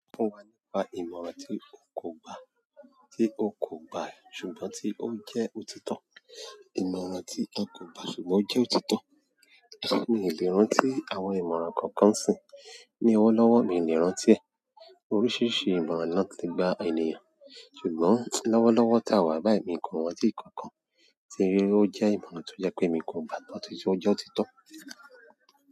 Sọ fún wa nípa ìmọ̀ràn tí o kò gba, tí o kò gba ṣùgbọ́n tí ó jẹ́ òtítọ́. Ìmọ̀ràn tí n kò gba ṣùgbọ́n ó jẹ́ òtítọ́. Mi ò lè rántí àwọn ìmọ̀ràn kankan nsìín. Ni ọwọ́ lọ́wọ́ mi lè rántí ẹ̀. Oríṣìíríṣìí ìmọ̀ràn ló le gba ènìyàn. Ṣùgbọ́n lọ́wọ́lọ́wọ́ táa wà báyìí miì kàn rántí ìkankan tí rí, ó jẹ́ ìmọ̀ràn tó jẹ́ pé mi kò gba á, tó ti jẹ́ ó jẹ́ òtítọ́.